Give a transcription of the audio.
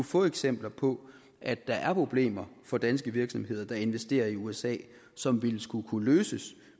få eksempler på at der er problemer for danske virksomheder der investerer i usa som ville skulle kunne løses